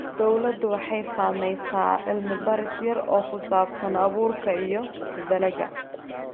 Dawladdu waxay samaynaysaa cilmi-baaris yar oo ku saabsan abuurka iyo dalagga.